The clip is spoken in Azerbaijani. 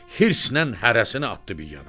Hirs ilə hərəsini atdı bir yana.